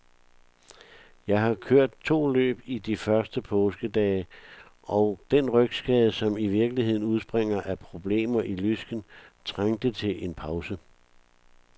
Jeg har kørt to løb i de første påskedage, og den rygskade, som i virkeligheden udspringer af problemer i lysken, trængte til en pause.